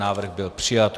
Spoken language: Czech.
Návrh byl přijat.